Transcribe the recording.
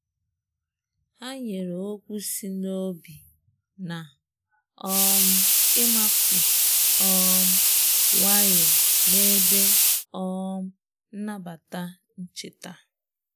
Ha nyere okwu si n'obi na um ịmakụ um nwayọ n'ebe um nnabata ncheta.